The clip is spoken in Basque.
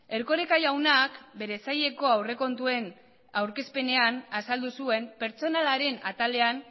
erkoreka jaunak bere saileko aurrekontuen aurkezpenean azaldu zuen pertsonalaren atalean